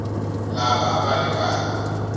lava a va ri karhi